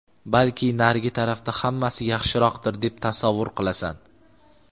balki narigi tarafda hammasi yaxshiroqdir deb tasavvur qilasan.